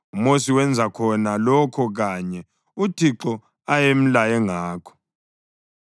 UMosi wenza khona lokho kanye uThixo ayemlaye ngakho.